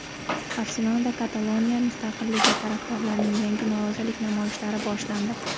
Barselonada Kataloniya mustaqilligi tarafdorlarining yangi norozilik namoyishlari boshlandi.